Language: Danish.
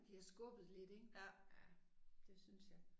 Bliver skubbet lidt ik. Ja det synes jeg